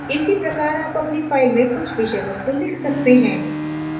इसी प्रकार आप अपनी file में कुछ विषय वस्तु लिख सकते हैं